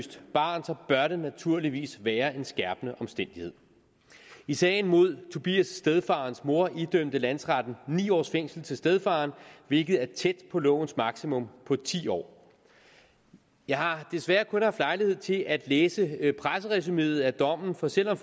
barn så bør det naturligvis være en skærpende omstændighed i sagen mod tobias stedfar og hans mor idømte landsretten ni års fængsel til stedfaren hvilket er tæt på lovens maksimum på ti år jeg har desværre kun haft lejlighed til at læse presseresumeet af dommen for selv om